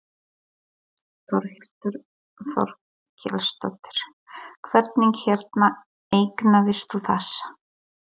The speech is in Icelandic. Þórhildur Þorkelsdóttir: Hvernig hérna eignaðist þú þessa?